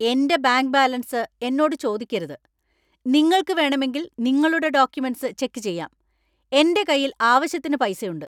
എന്‍റെ bank balance എന്നോട് ചോദിക്കരുത്. നിങ്ങൾക്ക് വേണമെങ്കിൽ നിങ്ങളുടെ ഡോക്യൂമെന്‍റ് സ് ചെക്ക് ചെയ്യാം. എന്‍റെ കയ്യിൽ ആവശ്യത്തിന് പൈസ ഉണ്ട് .